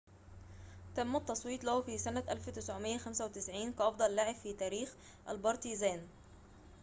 تم التصويت له في سنة 1995 كأفضل لاعب في تاريخ البارتيزان